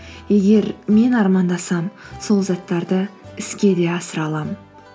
егер мен армандасам сол заттарды іске де асыра аламын